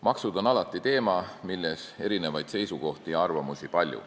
Maksud on alati teema, mille kohta on palju erinevaid seisukohti ja arvamusi.